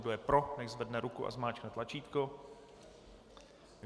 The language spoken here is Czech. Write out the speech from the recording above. Kdo je pro, nechť zvedne ruku a zmáčkne tlačítko.